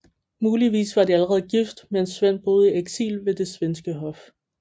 Muligvis var de allerede gift mens Svend boede i eksil ved det svenske hof